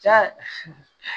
Ja